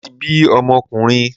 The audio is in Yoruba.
Mo ti bi ọmọkùnrin